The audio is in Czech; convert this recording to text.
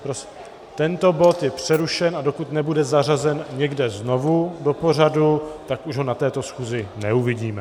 Tento bod je přerušen, a dokud nebude zařazen někde znovu do pořadu, tak už ho na této schůzi neuvidíme.